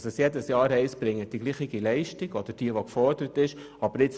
Dass es jedes Jahr heisst, dieselbe Leistung erbringen zu müssen, aber für weniger Geld?